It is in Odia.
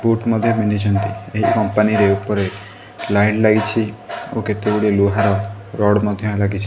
ବୁଟ ମଧ୍ୟ ପିନ୍ଧିଛନ୍ତି ଏ କଂପାନୀରେ ଉପରେ ଲାଇଟ୍ ଲାଗିଚି ଓ କେତେଗୁଡ଼ିଏ ଲୁହାର ରଡ ମଧ୍ୟ ଲାଗିଛି।